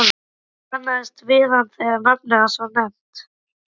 Ég kannaðist við hann þegar nafnið hans var nefnt.